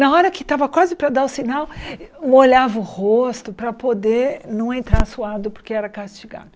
Na hora que estava quase para dar o sinal, molhava o rosto para poder não entrar suado porque era castigado.